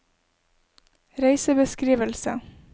reisebeskrivelse